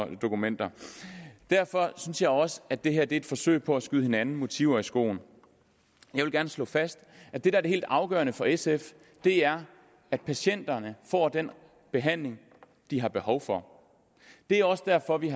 et dokument derfor synes jeg også at det her er et forsøg på at skyde hinanden motiver i skoene jeg vil gerne slå fast at det der er helt afgørende for sf er at patienterne får den behandling de har behov for det er også derfor vi